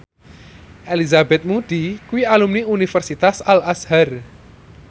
Elizabeth Moody kuwi alumni Universitas Al Azhar